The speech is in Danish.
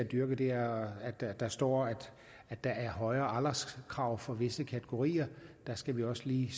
dyrket det er at der står at der er højere alderskrav for visse kategorier der skal vi også lige